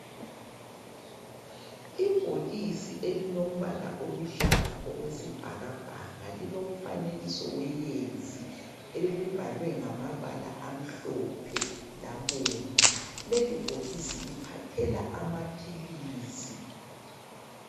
Ibhokisi elilombala oluhlaza okwesibhakabhaka lilomfanekiso weyezi leli libhalwe ngamabala amhlophe labomvu lelibhokisi liphathela amaphilizi.